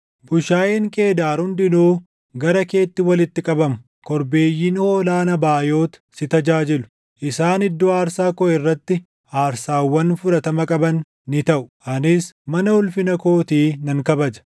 Bushaayeen Qeedaar hundinuu gara keetti walitti qabamu; korbeeyyiin hoolaa Nabaayot si tajaajilu; isaan iddoo aarsaa koo irratti aarsaawwan fudhatama qaban ni taʼu; anis mana ulfina kootii nan kabaja.